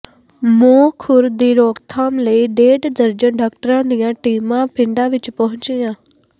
ਮੂੰਹਖੁਰ ਦੀ ਰੋਕਥਾਮ ਲਈ ਡੇਢ ਦਰਜਨ ਡਾਕਟਰਾਂ ਦੀਆਂ ਟੀਮਾਂ ਪਿੰਡਾਂ ਵਿੱਚ ਪਹੁੰਚੀਆਂ